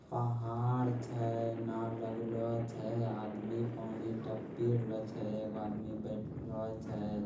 पहार छै। नाव लगलो छै। आदमी पानी ता पी रहलो छै। एगो आदमी बैठलो छै।